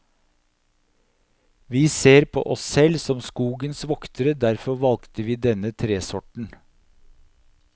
Vi ser på oss selv som skogens voktere, derfor valgte vi denne tresorten.